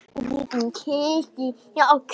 Ertu kvíðinn yfir því?